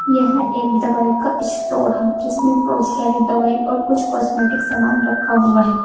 यह एक दवाई का स्टोर है जिसमें बहोत सारी दवाई और कुछ कॉस्मेटिक समान रखा हुआ है।